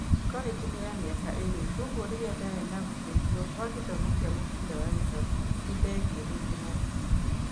Korĩnji nĩ ya mĩaka ĩrĩ kwoguo rĩrĩa ndarĩ na guteithio kwa gĩthomo kĩa mubira wa gĩkabu nĩndegĩĩrĩire na ndigirii.